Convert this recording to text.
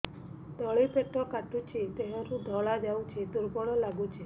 ତଳି ପେଟ କାଟୁଚି ଦେହରୁ ଧଳା ଯାଉଛି ଦୁର୍ବଳ ଲାଗୁଛି